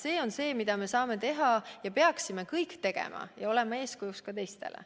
See on see, mida me saame teha ja peaksime kõik tegema – olema eeskujuks ka teistele.